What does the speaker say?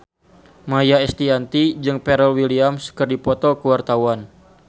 Maia Estianty jeung Pharrell Williams keur dipoto ku wartawan